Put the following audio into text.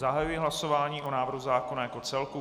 Zahajuji hlasování o návrhu zákona jako celku.